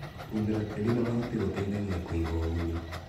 Kũhumbĩra tĩri na mahuti gũteithagia kũiga ũgunyu.